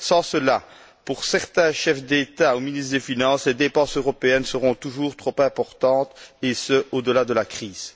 Sans cela, pour certains chefs d'État ou ministres des finances, les dépenses européennes seront toujours trop importantes et ce, au delà de la crise.